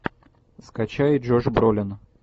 скачай джош бролин